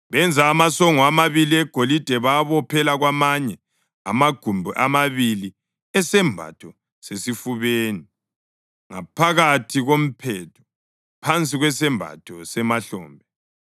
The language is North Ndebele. Benza amasongo amabili egolide bawabophela kwamanye amagumbi amabili esembatho sesifubeni ngaphakathi komphetho phansi kwesembatho semahlombe.